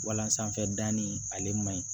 Walansanfɛ danni ale man ɲi